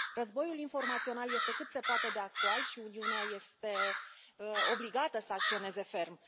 Războiul informațional este cât se poate de actual și Uniunea este obligată să acționeze ferm.